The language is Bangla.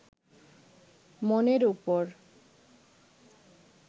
মনের উপর